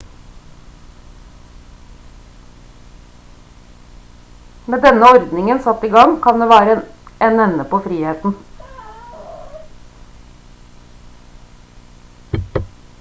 med denne ordningen satt i gang kan det være en ende på friheten